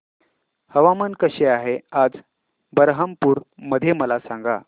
हवामान कसे आहे आज बरहमपुर मध्ये मला सांगा